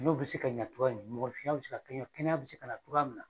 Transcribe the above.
N'o bɛ se ka ɲɛ cogoya min mɔgɔninfinya bɛ se kaɲɛ kɛnɛya bɛ se ka na cogoya min na.